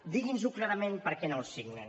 digui’ns ho clarament perquè no el signen